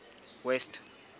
west